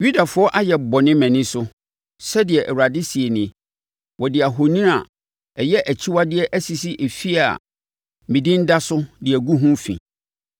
“ ‘Yudafoɔ ayɛ bɔne mʼani so, sɛdeɛ Awurade seɛ nie. Wɔde ahoni a, ɛyɛ akyiwadeɛ asisi efie a me Din da so de agu ho fi.